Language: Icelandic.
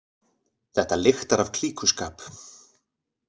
Þetta lyktar af klíkuskap